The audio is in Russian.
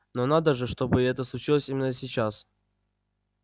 но надо же чтобы это случилось именно сейчас